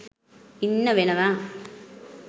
ඉන්න වෙනවා.